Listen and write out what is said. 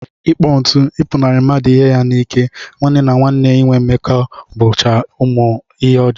Ịkpọ ntụ, ịpụnarị mmadụ ihe ya n'ike, nwanne na nwanne inwe mmekọ bụcha omume ọjọọ